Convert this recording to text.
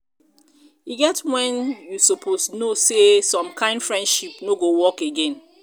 e get when you suppose know sey some kind friendship no go work again